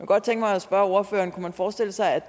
godt tænke mig at spørge ordføreren kunne man forestille sig